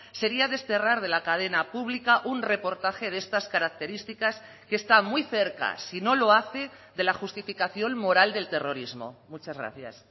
sería desterrar de la cadena pública un reportaje de estas características que está muy cerca si no lo hace de la justificación moral del terrorismo muchas gracias